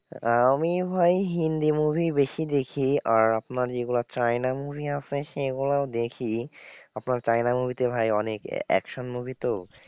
আহ আমি ভাই হিন্দি movie ই বেশি দেখি আর আপনার যেগুলো চায়না movie আছে সেগুলোও দেখি। আপনার চায়না movie তে ভাই অনেক action movie তো,